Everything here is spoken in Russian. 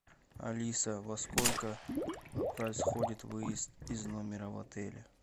алиса во сколько происходит выезд из номера в отеле